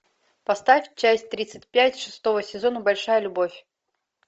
поставь часть тридцать пять шестого сезона большая любовь